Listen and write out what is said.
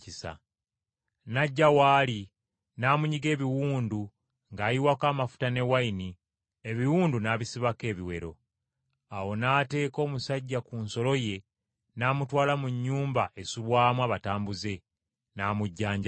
n’ajja w’ali, n’amunyiga ebiwundu ng’ayiwako amafuta, ne wayini ebiwundu n’abisibako ebiwero. Awo n’ateeka omusajja ku nsolo ye n’amutwala mu nnyumba esulwamu abatambuze, n’amujjanjaba.